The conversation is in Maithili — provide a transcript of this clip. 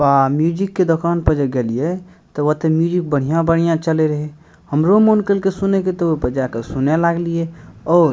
आ म्यूजिक के दुकान पे जे गेलीये तबत म्यूजिक बढ़िया-बढ़िया चले रहे हमरो मन कईल के सुने के तो बजाय क सुने लागलिये और --